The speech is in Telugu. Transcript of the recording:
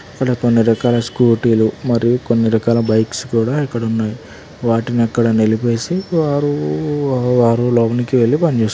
ఇక్కడ కొన్ని రకాల స్కూటీలు మరియు కొన్ని రకాల బైక్స్ కూడా ఇక్కడున్నాయ్. వాటినక్కడ నిలిపేసి వారూ వారు లోనికి వెళ్ళి పని జేసుకున్నా--